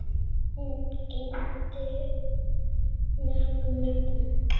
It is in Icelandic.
Hún gegndi mörgum nöfnum.